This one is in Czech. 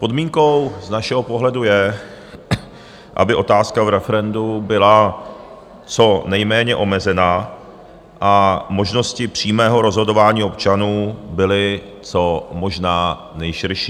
Podmínkou z našeho pohledu je, aby otázka v referendu byla co nejméně omezená a možnosti přímého rozhodování občanů byly co možná nejširší.